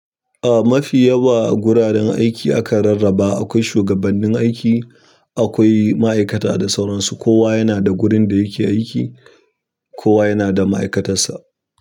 Eh mafi yawa guraren aiki akan rarraba, akwai shigabannin aiki, akwai ma'aikata da sauran su kowa yana da gurin da yake aiki, kowa yana da ma'aikatar sa.